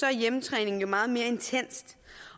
er hjemmetræning jo meget mere intenst